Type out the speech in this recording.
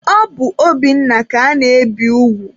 Ọ bụ Obinna ka ana-ebi ugwu.